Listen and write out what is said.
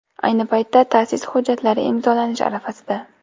Ayni paytda ta’sis hujjatlari imzolanish arafasida.